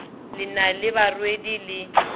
le na le barwedi le